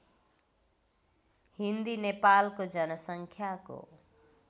हिन्दी नेपालको जनसङ्ख्याको